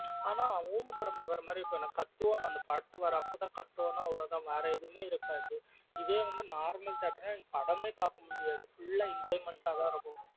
அனா ஊமா படம் பாக்கற மாதிரி இருக்கும் எனக்கு கத்துவோம் அனா படத்துக்கு வரப்போ கத்துவோம் வேற எதுமே இருகாது இதே வந்து normal theatre நா நீ படமே பாக்க முடியாது full ஆஹ் enjoyment ஆ தன் இருக்கும்.